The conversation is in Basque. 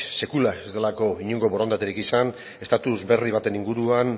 sekula ez delako inongo borondaterik izan estatus berri baten inguruan